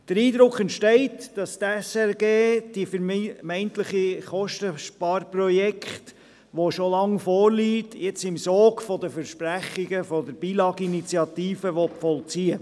Der Eindruck entsteht, dass die SRG das vermeintliche Kostensparprojekt, welches schon lange vorliegt, im Sog der Versprechungen im Zusammenhang mit der «No Billag»-Abstimmung umsetzen will.